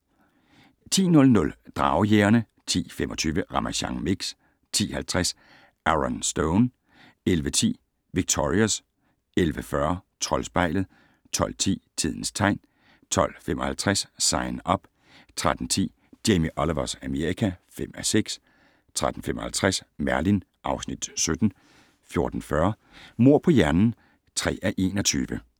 10:00: Dragejægerne 10:25: Ramasjang Mix 10:50: Aaron Stone 11:10: Victorious 11:40: Troldspejlet 12:10: Tidens tegn 12:55: Sign Up 13:10: Jamie Olivers Amerika (5:6) 13:55: Merlin (Afs. 17) 14:40: Mord på hjernen (3:21)